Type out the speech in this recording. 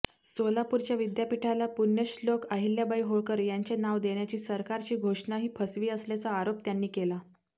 सोलापूरच्या विद्यापीठाला पुण्यश्लोक अहिल्याबाई होळकर यांचे नाव देण्याची सरकारची घोषणाही फसवी असल्याचा आरोप त्यांनी केला